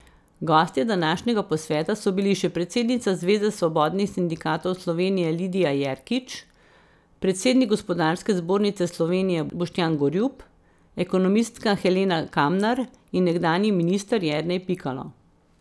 Gostje današnjega posveta so bili še predsednica Zveze svobodnih sindikatov Slovenije Lidija Jerkič, predsednik Gospodarske zbornice Slovenije Boštjan Gorjup, ekonomistka Helena Kamnar in nekdanji minister Jernej Pikalo.